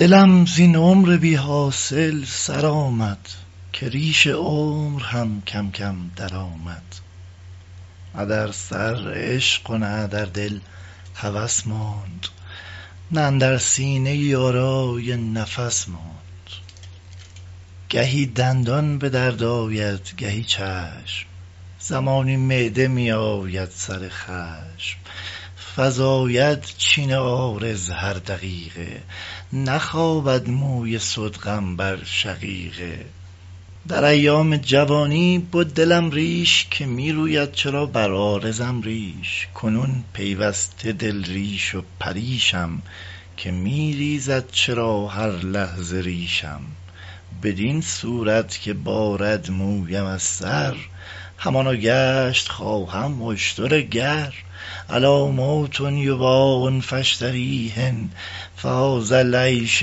دلم زین عمر بی حاصل سرآمد که ریش عمر هم کم کم در آمد نه در سر عشق و نه در دل هوس ماند نه اندر سینه یارای نفس ماند گهی دندان به درد آید گهی چشم زمانی معده می آید سر خشم فزاید چین عارض هر دقیقه نخوابد موی صدغم بر شقیقه در ایام جوانی بد دلم ریش که می روید چرا بر عارضم ریش کنون پیوسته دل ریش و پریشم که میریزد چرا هر لحظه ریشم بدین صورت که بارد مویم از سر همانا گشت خواهم اشتر گر أ لا موت یباع فأشتریه فهذا العیش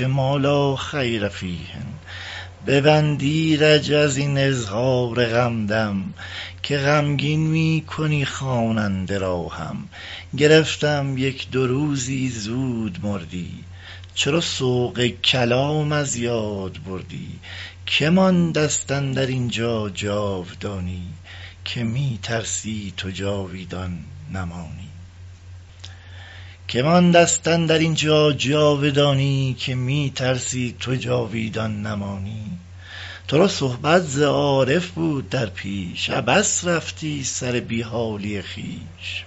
ما لا خیر فیه ببند ایرج از این اظهار غم دم که غمگین می کنی خواننده را هم گرفتم یک دو روزی زود مردی چرا سوق کلام از یاد بردی که ماندست اندر اینجا جاودانی که می ترسی تو جاویدان نمانی ترا صحبت ز عارف بود در پیش عبث رفتی سر بی حالی خویش